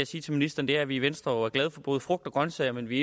sige til ministeren at vi i venstre jo er glade for både frugt og grønsager men vi